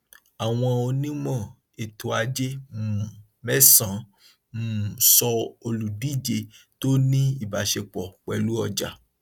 àwọn onímọ ètò ajé um mẹsànán um sọ olùdíje tó ní ìbáṣepọ pẹlú ọjà